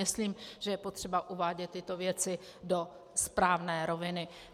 Myslím, že je potřeba uvádět tyto věci do správné roviny.